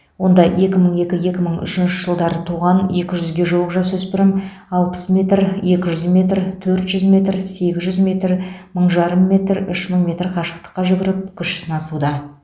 онда екі мың екі екі мың үшінші жылдар туған екі жүзге жуық жасөспірім алпыс метр екі жүз метр төрт жүз метр сегіз жүз метр мың жарым метр үш мың метр қашықтыққа жүгіріп күш сынасуда